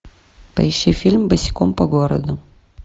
поищи фильм босиком по городу